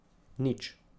Nič.